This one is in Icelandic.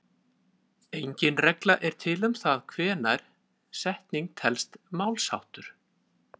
Engin regla er til um það hvenær setning telst málsháttur.